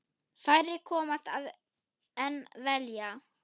Færri komast að en vilja.